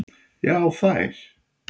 Já þær.